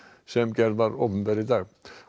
sem gerð var opinber í dag